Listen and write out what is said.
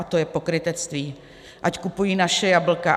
A to je pokrytectví, ať kupují naše jablka.